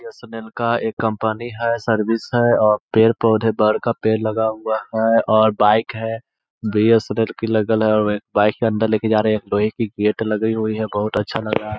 BSNL का एक company है सर्विस है और पेड़-पौधे बड़का पेड़ लगा हुआ हैऔर बाइक है बी.एस.एन.एल बाइक अंदर लेके जा रहे है। लोहे की गेट लगी हुई है। बहुत अच्छा लग रहा है।